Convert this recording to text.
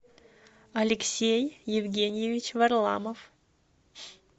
алексей евгеньевич варламов